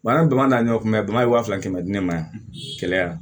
an ye bamakɔ ta ɲɔgɔn kunbɛn bagan ye waa fila kɛmɛ di ne ma yan kɛlɛ yan